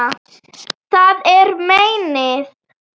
Það er meinið.